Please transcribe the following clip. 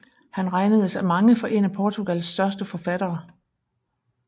Han regnedes af mange for en af Portugals største forfattere